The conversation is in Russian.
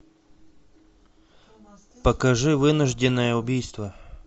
покажи вынужденное убийство